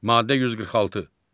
Maddə 146.